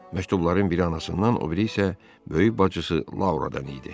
Məktubların biri anasından, o biri isə böyük bacısı Lauradan idi.